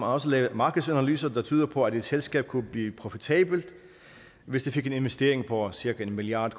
også lavet markedsanalyser der tyder på at et selskab kunne blive profitabelt hvis det fik en investering på cirka en milliard